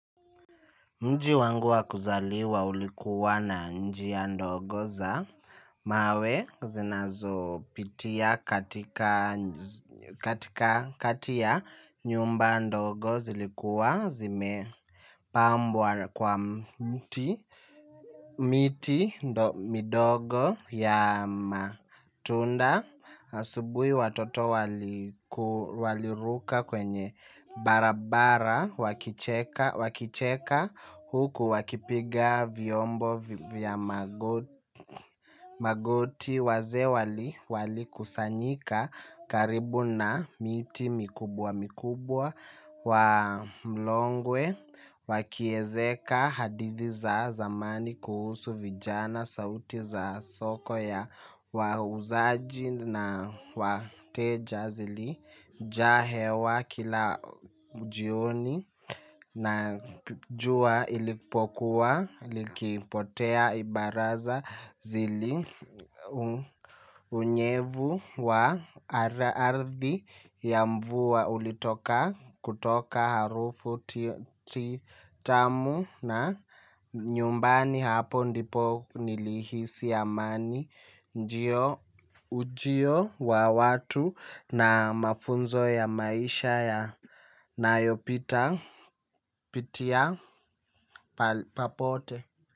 Mji wangu wa kuzaliwa ulikuwa na njia ndogo za mawe zinazopitia katika katika kati ya nyumba ndogo zilikuwa zime pambwa kwa mti miti midogo ya matunda. Asubui watoto walikuwaliruka kwenye barabara wakicheka huku wakipiga vyombo vya magoti magoti wazee wali kusanyika karibu na miti mikubwa mikubwa. Wa mlongwe wakiezeka hadithi za zamani kuhusu vijana sauti za soko ya wauzaji na wateja zili jaa hewa kila ujioni na jua ilipokuwa likipotea ibaraza zili unyevu wa arathi ya mvua ulitoka kutoka harufu titamu na na nyumbani hapo ndipo nilihisi amani ujio wa watu na mafunzo ya maisha yanopita pitia papote.